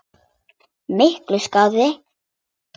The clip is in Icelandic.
Miklu skárra.